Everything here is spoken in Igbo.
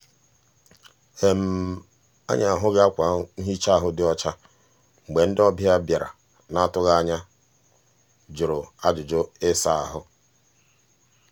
anyị ahụghị akwa nhịcha ahụ dị ọcha mgbe ndị ọbịa bịara n'atụghị anya jụrụ ajụjụ ịsa ahụ.